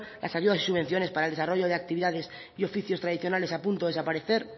las ayudas y subvenciones para el desarrollo de actividades y oficios tradicionales a punto de desaparecer